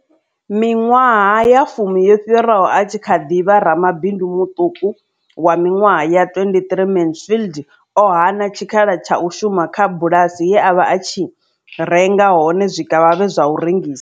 Miṅwaha ya fumi yo fhiraho, a tshi kha ḓi vha ramabindu muṱuku wa miṅwaha ya 23, Mansfield o hana tshikhala tsha u shuma kha bulasi ye a vha a tshi renga hone zwikavhavhe zwa u rengisa.